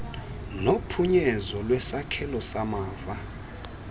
nophunyezo lwesakhelo samava